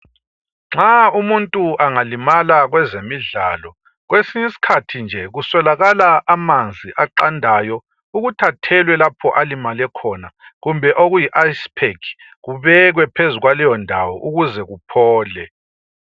Nxa umuntu angalimala kwezemidlalo. Kwesinyisikhathi nje kuswelakala amanzi aqandayo ukuthi athelwe lapho alimale khona .Kumbe okuyi icepack kubekwe phezu kwaleyo ndawo ukuze kuphole.